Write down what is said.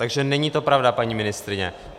Takže to není pravda, paní ministryně.